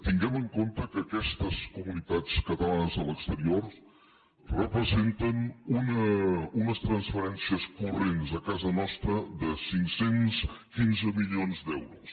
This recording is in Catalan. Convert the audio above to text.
tinguem en compte que aquestes comunitats catalanes a l’exterior representen unes transferències corrents a casa nostra de cinc cents i quinze milions d’euros